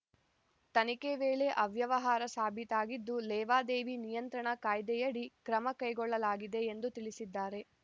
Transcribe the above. ತನಿಖೆ ವೇಳೆ ಅವ್ಯವಹಾರ ಸಾಬೀತಾಗಿದ್ದು ಲೇವಾದೇವಿ ನಿಯಂತ್ರಣ ಕಾಯ್ದೆಯಡಿ ಕ್ರಮ ಕೈಗೊಳ್ಳಲಾಗಿದೆ ಎಂದು ತಿಳಿಸಿದ್ದಾರೆ